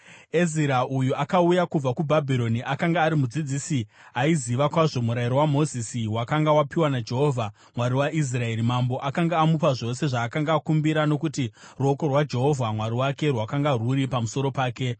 Ezira uyu akauya kubva kuBhabhironi. Akanga ari mudzidzisi aiziva kwazvo Murayiro waMozisi, wakanga wapiwa naJehovha, Mwari waIsraeri. Mambo akanga amupa zvose zvaakanga akumbira, nokuti ruoko rwaJehovha Mwari wake rwakanga rwuri pamusoro pake.